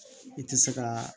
I tɛ se ka